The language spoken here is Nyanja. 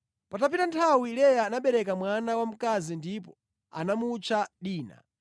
Patapita nthawi Leya anabereka mwana wamkazi ndipo anamutcha Dina.